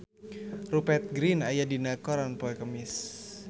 Rupert Grin aya dina koran poe Kemis